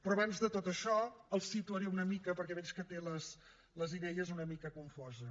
però abans de tot això el situaré una mica perquè veig que té les idees una mica confuses